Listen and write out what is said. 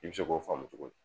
I bi se k'o faama cogo di?